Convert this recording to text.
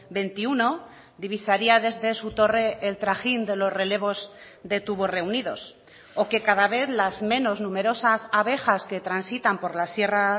veintiuno divisaría desde su torre el trajín de los relevos de tubos reunidos o que cada vez las menos numerosas abejas que transitan por la sierra